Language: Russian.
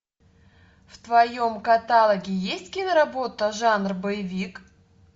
в твоем каталоге есть киноработа жанр боевик